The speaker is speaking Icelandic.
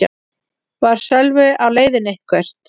Var Sölvi á leiðinni eitthvert?